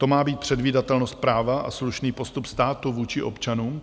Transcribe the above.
To má být předvídatelnost práva a slušný postup státu vůči občanům?